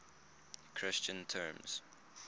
christian terms